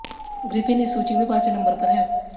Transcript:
Griffin इस सूची में पांचवें नंबर पर है